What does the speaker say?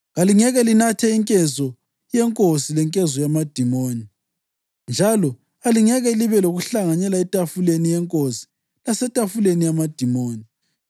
Kalingeke linathe inkezo yeNkosi lenkezo yamadimoni njalo, alingeke libe lokuhlanganyela etafuleni yeNkosi lasetafuleni yamadimoni.